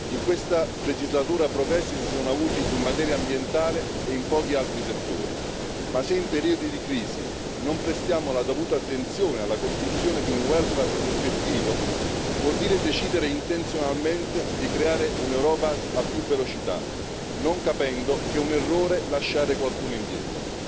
In questa legislatura i progressi si sono avuti in materia ambientale e in pochi altri settori, ma se in periodi di crisi non prestiamo la dovuta attenzione alla costruzione di un welfare effettivo, vuol dire decidere intenzionalmente di creare un'Europa a più velocità, non capendo che è un errore lasciare qualcuno indietro.